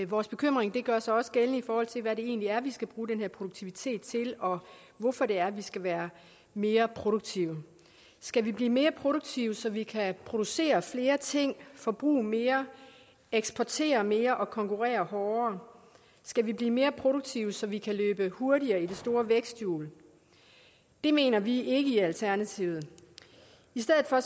vores bekymring gør sig også gældende i forhold til hvad det egentlig er vi skal bruge den her produktivitet til og hvorfor det er vi skal være mere produktive skal vi blive mere produktive så vi kan producere flere ting forbruge mere eksportere mere og konkurrere hårdere skal vi blive mere produktive så vi kan løbe hurtigere i det store væksthjul det mener vi ikke i alternativet i stedet for